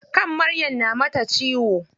Kan Maryam na mata ciwo.